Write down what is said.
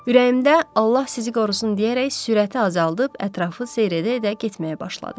Ürəyimdə Allah sizi qorusun deyərək sürəti azaldıb ətrafı seyr edə-edə getməyə başladım.